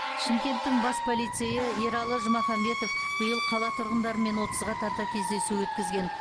шымкенттің бас полицейі ералы жұмаханбетов биыл қала тұрғындарымен отызға тарта кездесу өткізген